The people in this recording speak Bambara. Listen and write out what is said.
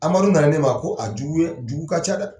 Amadu nana ne ma ko a jugu ye jugu ka ca dɛ.